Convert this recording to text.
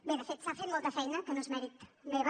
bé de fet s’ha fet molta feina que no és mèrit meu